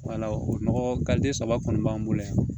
o nɔgɔ saba kɔni b'an bolo yan